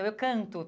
Eu canto.